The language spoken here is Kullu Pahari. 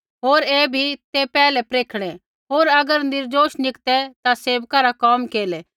होर ऐ भी ते पैहलै परखणै होर अगर निर्दोष निकतै ता सेवका रा कोम केरलै